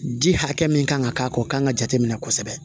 Di hakɛ min kan ka k'a kan o kan ka jate minɛ kosɛbɛ